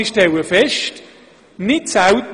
Doch dies ist nicht der Fall.